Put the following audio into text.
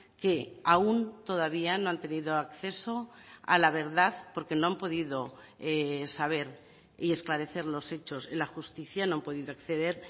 que aún todavía no han tenido acceso a la verdad porque no han podido saber y esclarecer los hechos en la justicia no han podido acceder